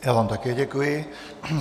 Já vám také děkuji.